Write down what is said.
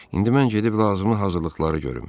İndi mən gedib lazımi hazırlıqları görüm.